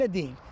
Elə deyil.